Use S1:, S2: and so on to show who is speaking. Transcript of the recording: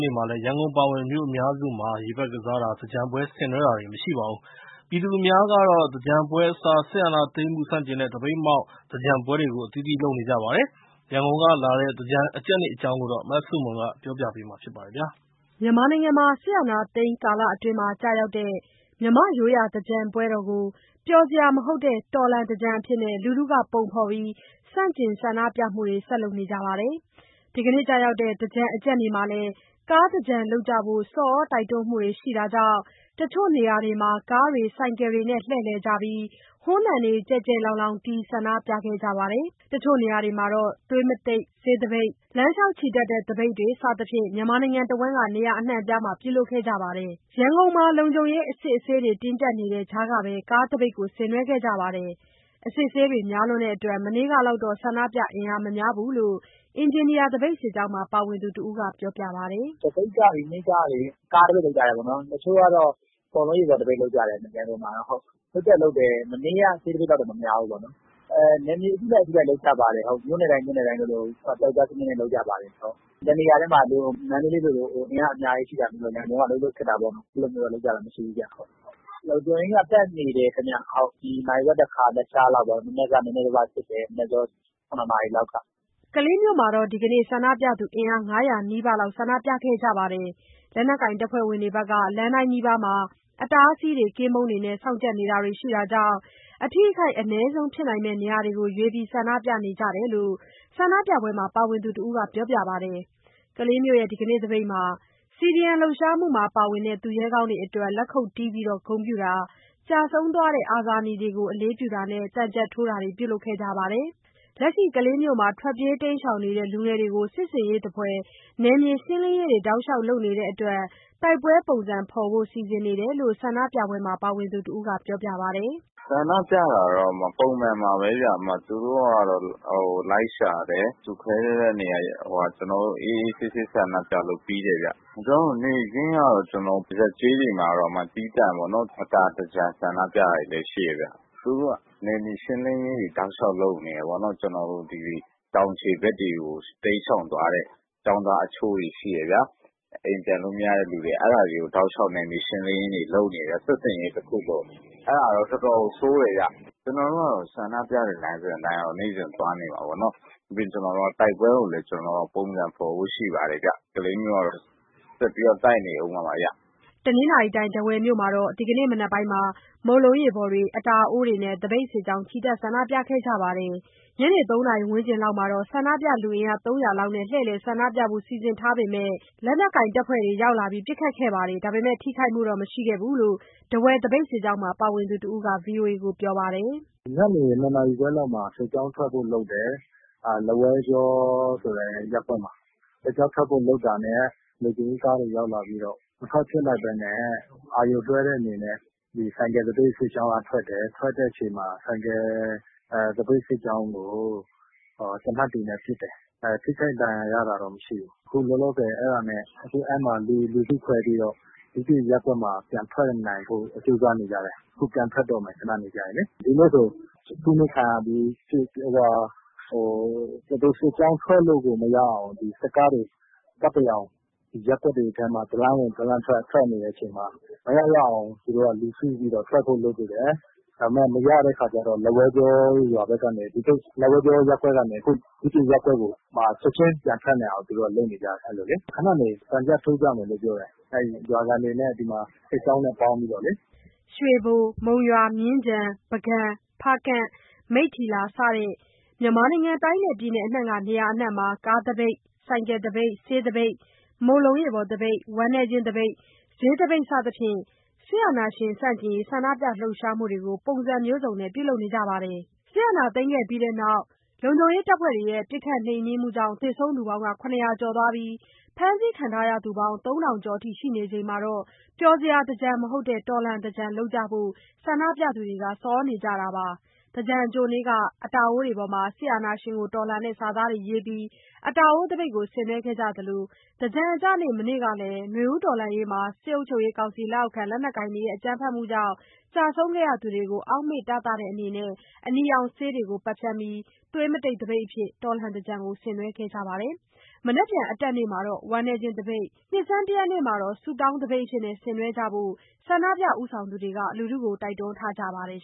S1: နေ့မှာလည်း ရန်ကုန်အပါအဝင် မြို့အများစုမှာ ရေပက်ကစားတာ၊ သင်္ကြန်ပွဲဆင်နွဲတာတွေ မရှိပါဘူး။ ပြည်သူအများကတော့ သင်္ကြန်ပွဲအစား စစ်အာဏာသိမ်းမှု ဆန့်ကျင်တဲ့ သပိတ်မှောက် သင်္ကြန်ပွဲတွေကို အသီးသီးလုပ်နေကြပါတယ်။ ရန်ကုန်က လာတဲ့ သင်္ကြန်အကြတ်နေ့အကြောင်း မဆုမွန်က ပြောပြထားပါတယ်။ စစ်အာဏာသိမ်း ကာလအတွင်းမှာ ကျရောက်တဲ့ မြန်မာ့ရိုးရာသင်္ကြန်ကို ပျော်စရာမဟုတ်တဲ့ တော်လှန်သင်္ကြန်အဖြစ် လူထုက ပုံဖော်ပြီး ဆန့်ကျင် ဆန္ဒပြမှုတွေကို ဆက်လုပ်နေကြပါတယ်။ ဒီနေ့ အကြတ်နေ့မှာ ကားသင်္ကြန်လုပ်ကြဖို့ ဆော်သြတိုက်တွန်းမှုတွေရှိတာကြောင့် တချို့နေရာတွေမှာကားတွေဆိုင်ကယ်တွေနဲ့ လှည့်လည်ကြပြီး ဟွန်းသံတေကျယ်ကျယ်လောင်လောင်တီး ဆန္ဒပြကြသလို တချို့နေရာတွေမှာ သွေးသပိတ်၊ လမ်းလျှောက်ချီတက်တဲ့သပိတ်တွေ စသဖြင့် မြန်မာနိုင်ငံတစ်ဝန်းက နေရာအနှံအပြားမှာ ပြုလုပ်ခဲ့ကြပါတယ်။ ရန်ကုန်မှာ လုံခြုံရေး၊ အစစ်အဆေး တင်းကြပ်နေတဲ့ ကြားကပဲ ကားသပိတ်ဆင်နွှဲခဲ့ကြပါတယ်။ အစစ်အဆေးတွေများနေတဲ့အတွက် မနေ့ကလောက်တော့ ဆန္ဒပြ အင်အားမများဘူးလို့ အင်ဂျင်နီယာသပိတ်စစ်ကြောင်းမှာ ပါဝင်သူတစ်ဦးက ပြောပါတယ်။
S2: “သပိတ်က ဒီနေ့ကလေ ကားသပိတ်လုပ်ကြတယ်ပေါ့နှော်။ တချို့ကလည်း မုန့်လုံးရေပေါ်သပိတ်လုပ်ကြတယ် ရန်ကုန်မှာတော့။ မနေ့က ဆေးသပိတ်လောက်တော့ မများဘူးပေါ့လေ။ နယ်မြေအလိုက် မြို့နယ်တိုင်း မြို့နယ်တိုင်း ပြောက်ကျားစနစ်နဲ့ လုပ်ကြပါတယ်။ တစ်နေရာတည်းမှာ အင်အားအများကြီးနဲ့ မန္တလေးလို ဒီမှာတော့ အဲ့လိုလုပ်ကြတာမရှိဘူးဗျ။ လုံခြုံရေးတွေက ပတ်နေတယ်ဗျ၊ နာရီဝက်တစ်ခါပေါ့။ ရသလောက်စစ်နေတယ်၊ နံနက် ၇ နာရီလောက်ကတည်းကပေါ့
S1: ။” ကလေးမြို့မှာတော့ ဒီကနေ့ အင်အား ၅၀၀ နီးပါးဆန္ဒပြခဲ့ကြပါတယ်။ လက်နက်ကိုင်တပ်ဖွဲ့တွေက လမ်းတိုင်းနီးပါးမှာ အတားအဆီးတွေ၊ ကင်းပုန်းတွေနဲ့ စောင့်ကြပ်နေတာတွေရှိတာကြောင့် အထိအခိုက် အနည်းဆုံးဖြစ်နိုင်မယ့် နေရာတွေမှာရွေးပြီး ဆန္ဒပြကြရတာဖြစ်တယ်လို့ ဆန္ဒပြပွဲမှာ ပါဝင်သူတစ်ဦးက ပြောပါတယ်။ ကလေးမြို့ ဒီကနေ့သပိတ်မှာ CDM လှုပ်ရှားမှုမှာပါဝင်တဲ့ သူရဲကောင်းတွေအတွက် လက်ခုတ်တီးပြီး ဂုဏ်ပြုတာ၊ ကျဆုံးသွားတဲ့ အာဇာနည်တွေကို အလေးပြုတာနဲ့ သံချပ်ထိုးတာတွေ ပြုလုပ်ခဲ့ကြပါတယ်။ လက်ရှိ ကလေးမြို့မှာ ထွက်ပြေးတိမ်းရှောင်နေတဲ့ လူငယ်တွေကို စစ်ဆင်ရေးသဖွယ် နယ်မြေရှင်းလင်းရေးတွေ တောက်လျှောက်လုပ်နေတဲ့အတွက် တိုက်ပွဲပုံစံဖော်ဖို့ စီစဉ်နေတယ်လို့ ဆန္ဒပြပွဲမှာ ပါဝင်သူတစ်ဦးက ပြောပါတယ်။
S3: “ဆန္ဒပြတာကတော့ ပုံမှန်ပါပဲ၊ သူတို့ကတော့ လိုက်ရှာတယ်။ ကျနော်တို့ လူစုခွဲတဲ့နေရာထိကတော့ အေးအေးဆေးဆေးဆန္ဒပြလို့ ပြီးတယ်ဗျ။ ကျနော်တို့ နယ်ကတော့ ပုံမှန်ပဲပေါ့၊ ရပ်ကျေးတွေမှာတော့ သီးသန့်ပေါ့နော်၊ အတာသင်္ကြန် ဆန္ဒပြတာတွေလည်းရှိတယ်ဗျ။ သူတို့က နယ်မြေရှင်းလင်းရေးတွေတောက်လျှောက်လုပ်နေတယ်ပေါ့နော်၊ ကျနော်တို့သိသရွေ့ အခုတောင်ခြေဖက်တွေကို တိမ်းရှောင်သွားတဲ့ ကျောင်းသားအချို့ရှိတယ်ဗျာ ။ အိမ်ပြန်လို့မရတဲ့သူတွေ။ အဲ့တာတွေကို တောက်လျှောက် နယ်မြေရှင်းလင်းရေးတွေလုပ်နေတယ်။ စစ်ဆင်ရေးတစ်ခုလို၊ အဲ့တာတော့ တော်တော်ကို ဆိုးတယ်ဗျ။ ကျနော်တို့ကတော့ ဆန္ဒပြတဲ့ လမ်းစဉ်အတိုင်းကတော့ သွားနေမှာပေါ့နှော်။ ပြီးတော့ ကျနော်တို့က တိုက်ပွဲကိုလည်း ပုံစံဖော်ဖို့ရှိပါတယ်ဗျ။ ကလေးမြို့ကတော့ ဆက်ပြီးတော့ တိုက်နေအုံးမှာပါဗျ။”
S1: တနင်္သာရီတိုင်၊း ထားဝယ်မြို့မှာလည်း ဒီကနေ့ မနက်ပိုင်းက မုန့်လုံးရေပေါ်တွေ၊ အတာအိုးတွေနဲ့ သပိတ်စစ်ကြောင်း ချီတက် ဆန္ဒပြခဲ့ကြပါတယ်။ ညနေ ၃ နာရီဝန်းကျင်လောက်မှာ ဆန္ဒပြလူအင်အား ၃၀၀ လောက်နဲ့ လှည့်လည်ဆန္ဒပြဖို့ စီစဉ်ထားပေမယ့် လက်နက်ကိုင်တပ်ဖွဲ့တွေရောက်လာပြီး ပစ်ခတ်ခဲ့တာမှာ ထိခိုက်မှုတော့ မရှိခဲ့ဘူးလို့ ထားဝယ်သပိတ်စစ်ကြောင်းမှာ ပါဝင်သူတစ်ဦးက VOA ကို ခုလိုပြောပါတယ်
S2: ။ “ညနေ ၂ နာရီခွဲလောက်မှာ စစ်ကြောင်းထွက်ဖို့လုပ်တယ်။ လက်ဝဲကြောဆိုတဲ့ ရပ်ကွက်မှာ စစ်ကြောင်းထွက်ဖို့လုပ်တာနဲ့ လုံခြုံရေးတပ်တွေရောက်လာပြီး မထွက်ဖြစ်လိုက်ဘူးပေါ့။ မထွက်ဖြစ်လိုက်ဘဲနဲ့ အာရုံလွှဲတဲ့အနေနဲ့ ဆိုင်ကယ်သပိတ်စစ်ကြောင်းက ထွက်တယ်၊ ထွက်တဲ့ခါမှာ ဆိုင်ကယ် သပိတ်စစ်ကြောင်းကို သေနတ်တွေနဲ့ ပစ်တယ်။ ထိခိုက်ဒဏ်ရာ ရတာတော့ မရှိဘူး။ အခုလောလောဆယ် အဲ့မှာ လူစုခွဲပြီးတော့ တခြားရပ်ကွက်မှာ ပြန်ထွက်နိုင်ဖို့ ကြိုးစားနေကြတယ်။ ဒီနေ့ဆို သပိတ်စစ်ကြောင်းထွက်လို့ကို မရအောင် စစ်ကားတွေ ရပ်ကွက်တွေထဲမှာ တစ်လမ်းဝင်တစ်လမ်းထွက် ပတ်တရောင် လှည့်နေတဲ့အချိန်မှာ မရရအောင် လူစုပြီး ထွက်ဖို့လုပ်ကြတယ်၊ ဒါပေမယ့် မရတဲ့ခါကျတော့ လက်ဝဲကြောရပ်ကွက်ကနေ တခြားရပ်ကွက်ကိုပြောင်းပြီး ချက်ချင်း ပြန်ထွက်နိုင်ဖို့လုပ်နေကြတယ်။ ခဏနေရင် ရွာခံတွေနဲ့ စစ်ကြောင်းနဲ့ ပေါင်းပြီးတော့ သံချပ်ထိုးကြမယ်။” ရွေဘို၊ မုံ
S1: ရွာ၊ မြင်းခြံ၊ ပုဂံ၊ ဖားကန့်၊ မိတ္ထီလာ စတဲ့ မြန်မာနိုင်ငံ တိုင်းနဲ့ပြည်နယ်အနှံ့က နေရာအစုံမှာ ကားသပိတ်၊ ဆိုင်ကယ်သပိတ်၊ ဆေးသပိတ်၊ မုန့်လုံးရေပေါ်သပိတ်၊ ဝမ်းနည်းခြင်းသပိတ်၊ ဈေးသပိတ် စသဖြင့် စစ်အာဏာရှင်ဆန့်ကျင်ရေး ဆန္ဒပြလှုပ်ရှားမှုတွေကို ပုံစံမျိုးစုံနဲ့ ပြုလုပ်ခဲ့ကြပါတယ်။ စစ်အာဏာသိမ်းခဲ့ပြီးနောက် ပစ်ခတ်နှိမ်နင်းမှုကြောင့် သေဆုံးသူ ၇၀၀ ကျော်၊ ဖမ်းဆီးခံရသူ ၃,၀၀၀ ကျော် ရှိနေချိန်မှာ ပျော်စရာသင်္ကြန် မဟုတ်တဲ့ တော်လှန်သင်္ကြန်လုပ်ကြဖို့ ဆန္ဒပြသူတွေက ဆော်သြနေကြတာပါ။ သင်္ကြန်အကြိုနေ့က အတာအိုးတွေပေါ်မှာ စစ်အာဏာရှင်ကိုတော်လှန်တဲ့ စာသားတွေရေးပြီး အတာအိုးသပိတ်ကို ဆင်နွှဲခဲ့ကြသလို သင်္ကြန်အကျနေ့ မနေ့ကလည်း နွေဦးတော်လှန်ရေးမှာ စစ်ကောင်စီလက်အောက်ခံ လက်နက်ကိုင်တွေရဲ့ အကြမ်းဖက်မှုကြောင့် ကျဆုံးခဲ့ကြသူတွေကို အောင့်မေ့တသတဲ့အနေနဲ့ အနီရောင်ဆေးတွေကို ပက်ဖြန်းပြီး သွေးမတိတ်သပိတ်အဖြစ် တော်လှန်သင်္ကြန်ကို ဆင်နွှဲခဲ့ကြပါတယ်။ မနက်ဖြန် အတက်နေ့မှာတော့ ဝမ်းနည်းခြင်းသပိတ်၊ နှစ်ဆန်းတစ်ရက်နေ့မှာတော့ ဆုတောင်းသပိတ်အဖြစ် ဆင်နွှဲကြဖို့ ဆန္ဒပြပွဲ ဦးဆောင်သူတွေက တိုက်တွန်းထားကြပါတယ်